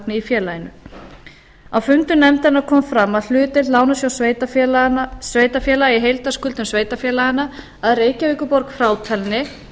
í félaginu á fundum nefndarinnar kom fram að hlutdeild lánasjóðs sveitarfélaga í heildarskuldum sveitarfélaganna að reykjavíkurborg frátalinni